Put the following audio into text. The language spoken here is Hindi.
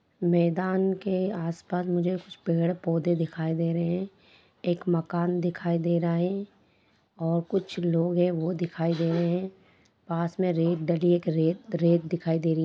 मैदान के आस-पास मुझे कुछ पेड़-पौधे दिखाई दे रहे है एक मकान दिखाई दे रहा है और कुछ लोग है वो दिखाई दे रहे है पास मे रेत डली है एक रेत-रेत दिखाई दे रही है।